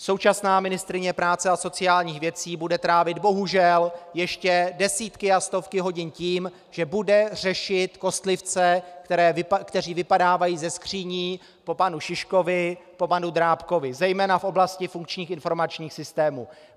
Současná ministryně práce a sociálních věcí bude trávit bohužel ještě desítky a stovky hodin tím, že bude řešit kostlivce, kteří vypadávají ze skříní po panu Šiškovi, po panu Drábkovi zejména v oblasti funkčních informačních systémů.